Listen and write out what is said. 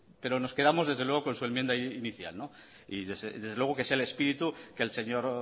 pero nos quedamos desde luego con su enmienda inicial y desde luego que es el espíritu que el señor